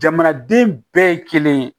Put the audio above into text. Jamanaden bɛɛ ye kelen ye